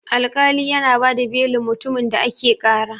Alkali yana bada belin mutumin da ake ƙara.